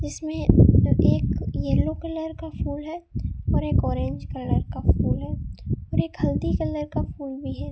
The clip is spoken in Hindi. इसमें एक येलो कलर का फूल है और एक ऑरेंज कलर का फूल है और एक हल्दी कलर का फूल भी है।